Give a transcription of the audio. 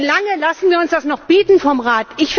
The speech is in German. Wie lange lassen wir uns das noch bieten vom Rat?